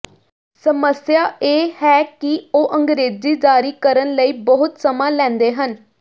ਸਮੱਸਿਆ ਇਹ ਹੈ ਕਿ ਉਹ ਅੰਗਰੇਜ਼ੀ ਜਾਰੀ ਕਰਨ ਲਈ ਬਹੁਤ ਸਮਾਂ ਲੈਂਦੇ ਹਨ